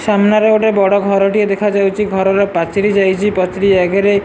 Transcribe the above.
ସାମ୍ନାରେ ଗୋଟେ ବଡଘର ଟିଏ ଦେଖାଯାଉଛି ଘରର ପାଚେରୀ ଯାଇଛି ପାଚେରୀ ଆଗରେ --